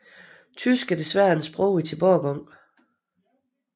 Tysk er desværre et sprog i tilbagegang